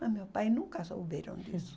Mas meus pais nunca souberam disso.